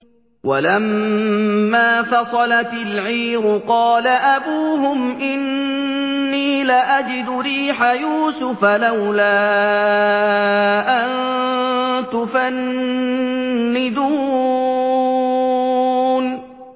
وَلَمَّا فَصَلَتِ الْعِيرُ قَالَ أَبُوهُمْ إِنِّي لَأَجِدُ رِيحَ يُوسُفَ ۖ لَوْلَا أَن تُفَنِّدُونِ